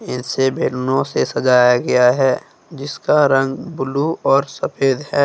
इसे भैंनों से सजाया गया है जिसका रंग ब्लू और सफेद है।